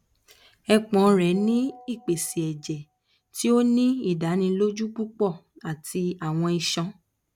epon re ni ipese ẹjẹ ti o ni idaniloju pupọ ati awọn iṣọn